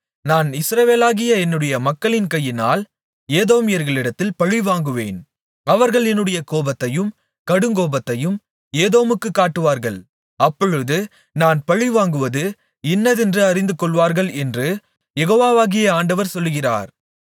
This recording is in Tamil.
நான் இஸ்ரவேலாகிய என்னுடைய மக்களின் கையினால் ஏதோமியர்களிடத்தில் பழிவாங்குவேன் அவர்கள் என்னுடைய கோபத்தையும் கடுங்கோபத்தையும் ஏதோமுக்கு காட்டுவார்கள் அப்பொழுது நான் பழிவாங்குவது இன்னதென்று அறிந்துகொள்வார்கள் என்று யெகோவாகிய ஆண்டவர் சொல்லுகிறார்